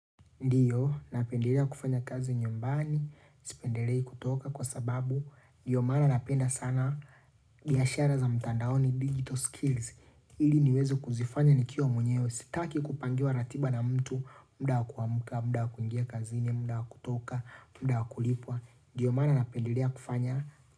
Ndiyo, napendelea kufanya kazi nyumbani, sipendelea kutoka kwa sababu, ndiyo maana napenda sana, biashara za mtandaoni digital skills, ili niweze kuzifanya nikiwa mwenyewe, sitaki kupangiwa ratiba na mtu, mda wa kuamuka, muda wa kuingia kazini, muda wakutoka, muda wakulipwa, ndiyo maana napendelea kufanya.